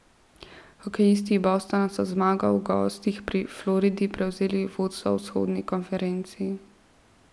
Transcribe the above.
Hokejisti Bostona so z zmago v gosteh pri Floridi prevzeli vodstvo v vzhodni konferenci.